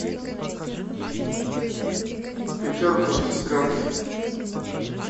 пятерку сестренке